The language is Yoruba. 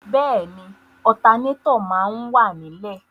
Bẹ́ẹ̀ni, ọtanétọ̀ máa wà ní lẹ̀.